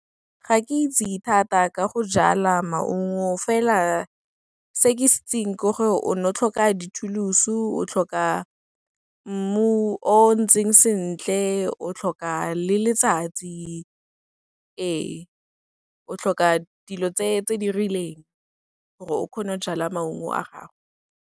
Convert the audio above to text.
Ga ke itse thata ka go jala maungo, fela se ke se itseng ke gore o ne o tlhoka dithulusu, o tlhoka mmu o ntseng sentle, o tlhoka le letsatsi, ee, o tlhoka dilo tse di rileng gore o kgone go jala maungo a gago.